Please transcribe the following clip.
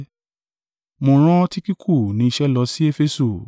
Mo rán Tikiku ní iṣẹ́ lọ sí Efesu.